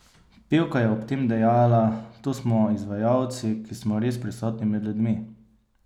Pevka je ob tem dejala: "To smo izvajalci, ki smo res prisotni med ljudmi.